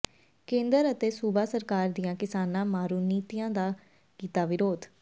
ਕੇਂਦਰ ਅਤੇ ਸੂਬਾ ਸਰਕਾਰ ਦੀਆਂ ਕਿਸਾਨਾਂ ਮਾਰੂ ਨੀਤੀਆਂ ਦਾ ਕੀਤਾ ਵਿਰੋਧ